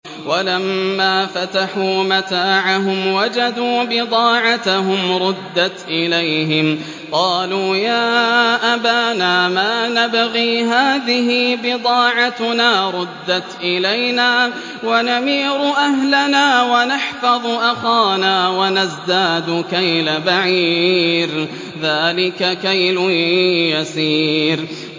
وَلَمَّا فَتَحُوا مَتَاعَهُمْ وَجَدُوا بِضَاعَتَهُمْ رُدَّتْ إِلَيْهِمْ ۖ قَالُوا يَا أَبَانَا مَا نَبْغِي ۖ هَٰذِهِ بِضَاعَتُنَا رُدَّتْ إِلَيْنَا ۖ وَنَمِيرُ أَهْلَنَا وَنَحْفَظُ أَخَانَا وَنَزْدَادُ كَيْلَ بَعِيرٍ ۖ ذَٰلِكَ كَيْلٌ يَسِيرٌ